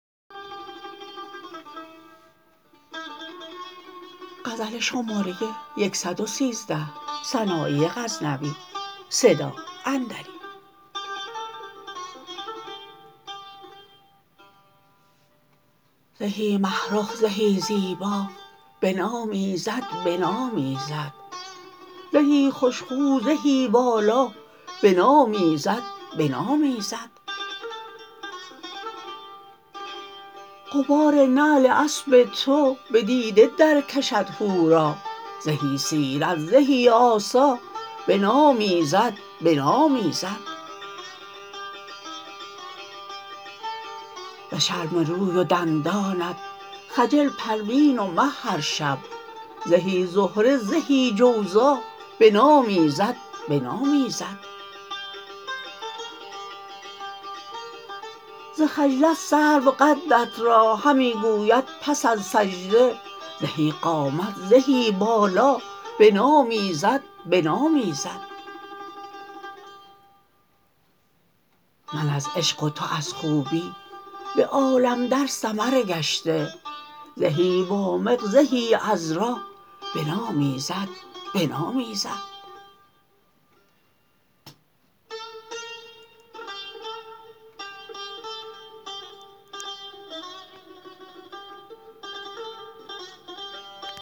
زهی مه رخ زهی زیبا بنامیزد بنامیزد زهی خوشخو زهی والا بنامیزد بنامیزد غبار نعل اسب تو به دیده درکشد حورا زهی سیرت زهی آسا بنامیزد بنامیزد ز شرم روی و دندانت خجل پروین و مه هر شب زهی زهره زهی جوزا بنامیزد بنامیزد ز خجلت سرو قدت را همی گوید پس از سجده زهی قامت زهی بالا بنامیزد بنامیزد من از عشق و تو از خوبی به عالم در سمر گشته زهی وامق زهی عذرا بنامیزد بنامیزد